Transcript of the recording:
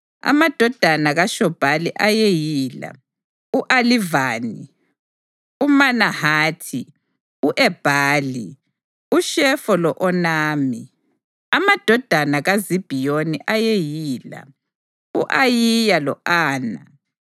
Amadodana kaShobhali ayeyila: u-Alivani, uManahathi, u-Ebhali, uShefo lo-Onami. Amadodana kaZibhiyoni ayeyila: u-Ayiya lo-Ana.